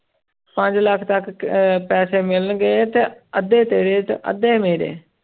ਪੰਜ ਲੱਖ ਤੱਕ ਅਹ ਪੈਸੇ ਮਿਲਣਗੇ ਤੇ ਅੱਧੇ ਤੇਰੇ ਤੇ ਅੱਧੇ ਮੇਰੇ।